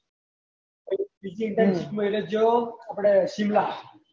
બીજી ઈ internship મેળે ગયી આપડે શિમલા